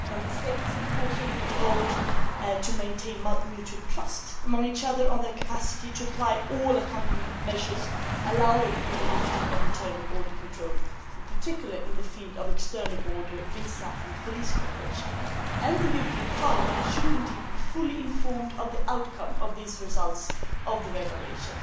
Member States, of course, shall be involved to maintain mutual trust among each other on their capacity to apply all accompanying measures allowing for the lifting of internal border control, in particular, in the field of external borders, visa and police cooperation. The European Parliament should indeed be fully informed of the outcome of these results of the evaluation.